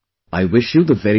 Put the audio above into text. I wish you the very best